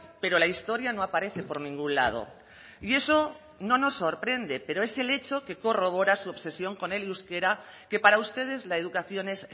pero la historia no aparece por ningún lado y eso no nos sorprende pero es el hecho que corrobora su obsesión con el euskera que para ustedes la educación es